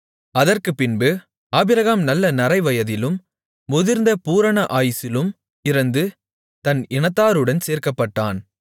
அதற்குப்பின்பு ஆபிரகாம் நல்ல நரைவயதிலும் முதிர்ந்த பூரண ஆயுசிலும் இறந்து தன் இனத்தாருடன் சேர்க்கப்பட்டான்